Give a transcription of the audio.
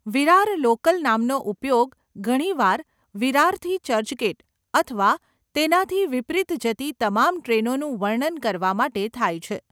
Virar local નામનો ઉપયોગ ઘણીવાર વિરારથી ચર્ચગેટ અથવા તેનાથી વિપરીત જતી તમામ ટ્રેનોનું વર્ણન કરવા માટે થાય છે.